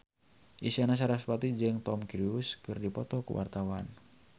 Isyana Sarasvati jeung Tom Cruise keur dipoto ku wartawan